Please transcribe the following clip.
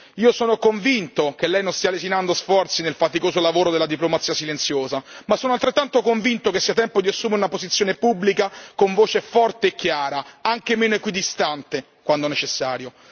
Io sono convinto che lei non stia lesinando sforzi nel faticoso lavoro della diplomazia silenziosa, ma sono altrettanto convinto che sia tempo di assumere una posizione pubblica con voce forte e chiara, anche meno equidistante, quando necessario.